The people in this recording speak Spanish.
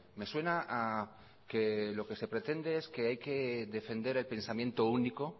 me suena a que lo que se pretende es que hay que defender el pensamiento único